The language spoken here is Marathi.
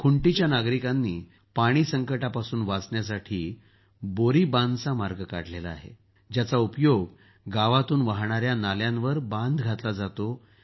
खुंटीच्या नागरिकांनी पाणी संकटापासून वाचण्यासाठी बोरी बांधचा मार्ग काढला आहे ज्याचा उपयोग गावातून वाहणाऱ्या नाल्यांवर बांध घातला जातो